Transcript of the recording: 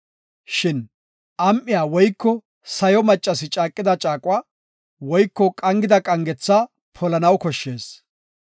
“Shin am7iya woyko sayo maccasi caaqida caaquwa woyko qangida qangetha polanaw bessees.